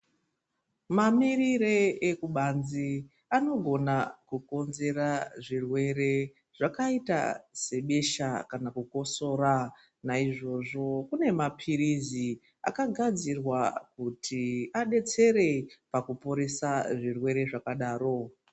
Mamirire ekubanzi anogona kukonzera zvirwere zvakaita sebesha kana kukosora. Naizvozvo kune maphirizi akagadzirwa kuti adetsere ,pakuporesa zvirwere zvakadaro.